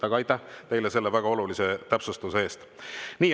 Aga aitäh teile selle väga olulise täpsustuse eest!